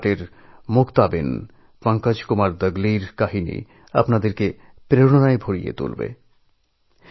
গুজরাটের মুক্তা বেন পঙ্কজ কুমার দগলীর কাহিনি শুনলে আপনারা অনুপ্রাণিত হবেন